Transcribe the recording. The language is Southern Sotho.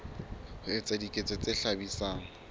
ho etsa diketso tse hlabisang